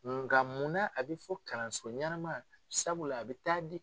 Nga mun na a bɛ fɔ kalanso ɲɛnama sabula a bɛ taa di